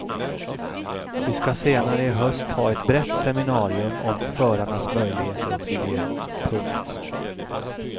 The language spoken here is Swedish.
Vi ska senare i höst ha ett brett seminarium om förarnas möjligheter och miljö. punkt